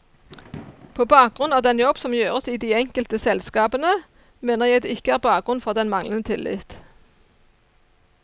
På bakgrunn av den jobb som gjøres i de enkelte selskapene, mener jeg det ikke er bakgrunn for den manglende tillit.